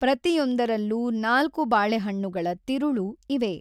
ಪ್ರತಿಯೊಂದರಲ್ಲೂ ನಾಲ್ಕು ಬಾಳೆಹಣ್ಣುಗಳ ತಿರುಳು ಇವೆ.